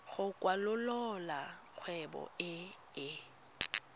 go kwalolola kgwebo e e